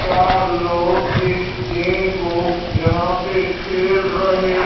चार लोग इस गेम को यहां पे खेल रहे--